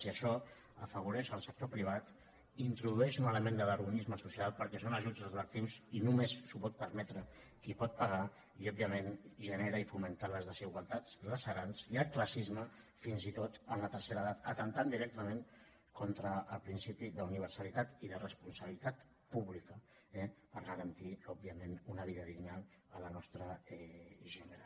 i això afavoreix el sector privat introdueix un element de vergonyisme social perquè són ajuts retroactius i només s’ho pot permetre qui pot pagar i òbviament genera i fomenta les desigualtats punyents i el classisme fins i tot en la tercera edat atemptant directament contra el principi d’universalitat i de responsabilitat pública eh per garantir òbviament una vida digna a la nostra gent gran